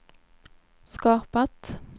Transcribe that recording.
skapat